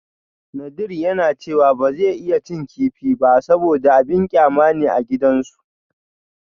Nadir yana cewa ba zai iya cin kifi ba saboda abin kyama ne a gidansu